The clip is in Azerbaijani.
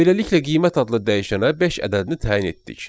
Beləliklə qiymət adlı dəyişənə beş ədədini təyin etdik.